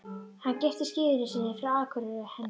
Hann giftist gyðjunni sinni frá Akureyri, henni